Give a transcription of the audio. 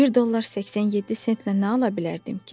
Bir dollar 87 sentlə nə ala bilərdim ki?